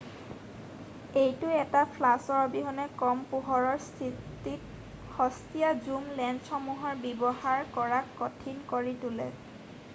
এইটো এটা ফ্লাছৰ অবিহনে কম পোহৰৰ স্থিতিত সস্তিয়া ঝুম লেন্সসমূহৰ ব্যৱহাৰ কৰাক কঠিন কৰি তোলে৷